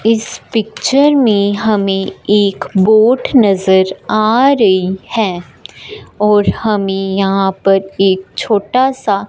इस पिक्चर में हमें एक बोट नजर आ रही है और हमें यहां पर एक छोटा सा--